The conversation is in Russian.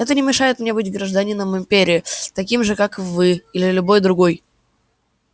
это не мешает мне быть гражданином империи таким же как вы или любой другой